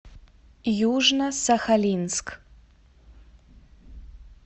южно сахалинск